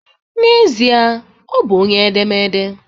N'ezie, ọ bụ onye edemede